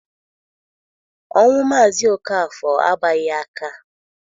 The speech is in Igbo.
Ọnwụ Mazi Okafor agbaghi aka